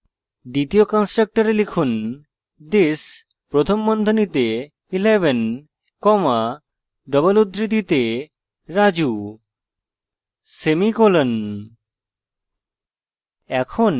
দ্বিতীয় কন্সট্রকটরে লিখুন this প্রথম বন্ধনীতে 11 comma double উদ্ধৃতির মধ্যে raju semicolon